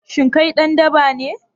Shin kai dan daba ne?